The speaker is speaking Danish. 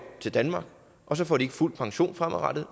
til danmark og så får de ikke fuld pension fremadrettet